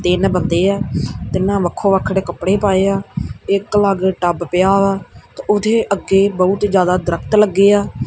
ਤਿੰਨ ਬੰਦੇ ਆ ਤਿੰਨਾਂ ਵੱਖੋ ਵੱਖਰੇ ਕੱਪੜੇ ਪਾਏ ਆ ਇਕ ਵੱਖ ਟਬ ਪਿਆ ਵਾ ਤੇ ਉਹਦੇ ਅੱਗੇ ਬਹੁਤ ਜਿਆਦਾ ਦਰਖਤ ਲੱਗੇ ਆ।